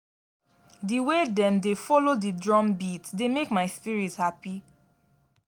di way dem dey folo di drum beat dey make my spirit hapi.